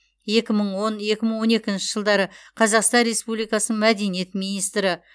екі мың он екі мың он екінші жылдары қазақстан республикасын мәдениет министрі